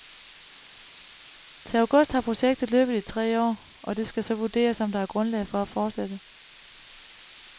Til august har projektet løbet i tre år, og det skal så vurderes, om der er grundlag for at fortsætte.